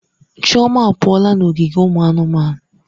Chioma apụọla n'ogige ụmụ anụmanụ.